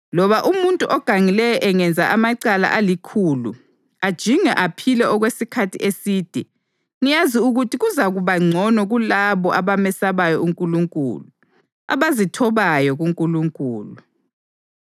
Loba umuntu ogangileyo engenza amacala alikhulu ajinge aphile okwesikhathi eside, ngiyazi ukuthi kuzakuba ngcono kulabo abamesabayo uNkulunkulu, abazithobayo kuNkulunkulu.